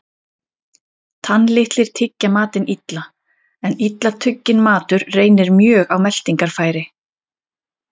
Tannlitlir tyggja matinn illa, en illa tugginn matur reynir mjög á meltingarfæri.